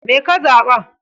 Me ka zaɓa?